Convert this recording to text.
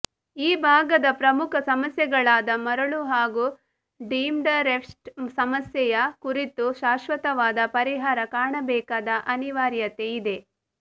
ಈ ಭಾಗದ ಪ್ರಮುಖ ಸಮಸ್ಯೆಗಳಾದ ಮರಳು ಹಾಗೂ ಡೀಮ್ಡ್ಫಾರೆಸ್ಟ್ ಸಮಸ್ಯೆಯ ಕುರಿತು ಶಾಶ್ವತವಾದ ಪರಿಹಾರ ಕಾಣಬೇಕಾದ ಅನಿವಾರ್ಯತೆ ಇದೆ